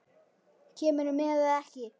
Kemurðu með eða ekki.